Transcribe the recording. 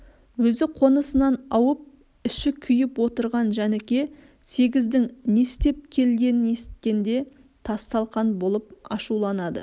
өзі қонысынан ауып іші күйіп отырған жәніке сегіздің не істеп келгенін есіткенде тасталқан болып ашуланды